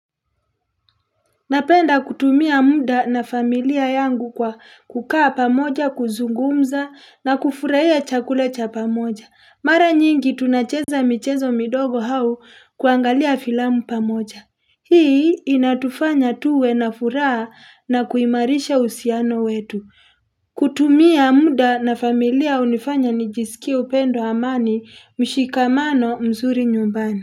Napenda kutumia muda na familia yangu kwa kukaa pamoja, kuzungumza na kufurahia chakula cha pamoja. Mara nyingi tunacheza michezo midogo au kuangalia filamu pamoja. Hii inatufanya tuwe na furaha na kuimarisha usiano wetu. Kutumia muda na familia unifanya nijisikie upendo amani mshikamano mzuri nyumbani.